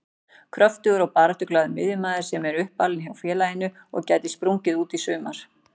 Kröftugur og baráttuglaður miðjumaður sem er uppalinn hjá félaginu og gæti sprungið út í sumar.